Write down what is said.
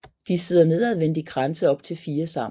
De sidder nedadvendt i kranse op til fire sammen